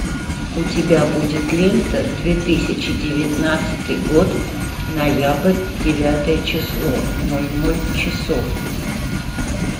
у тебя будет лента две тысячи девятнадцатый год ноябрь девятое число ноль ноль часов